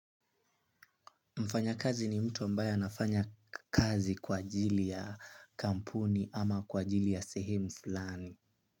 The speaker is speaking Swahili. Mfanyakazi ni mtu ambaya anafanya kazi kwa ajili ya kampuni ama kwa ajili ya sehemu fulani.